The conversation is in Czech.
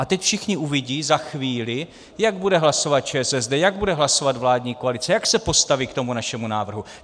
A teď všichni uvidí, za chvíli, jak bude hlasovat ČSSD, jak bude hlasovat vládní koalice, jak se postaví k tomu našemu návrhu.